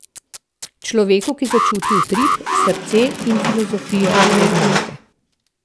Človeku, ki začuti utrip, srce in filozofijo te znamke.